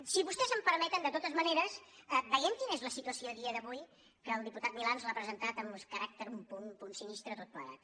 si vostès em permeten de totes maneres veiem quina és la situació a dia d’avui que el diputat milà ens ho ha presentat amb un caràcter un punt sinistre tot plegat